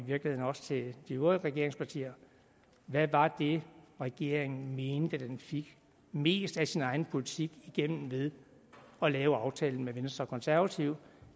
virkeligheden også til de øvrige regeringspartier hvad var det regeringen mente med at den fik mest af sin egen politik igennem ved at lave aftalen med venstre og konservative